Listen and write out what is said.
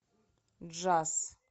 джаз